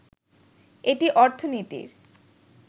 এটি অর্থনীতির